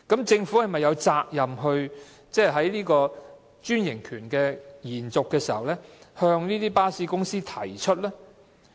政府是否有責任在延續專營權時向巴士公司提出呢？